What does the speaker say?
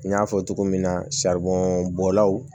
N y'a fɔ cogo min na bɔlaw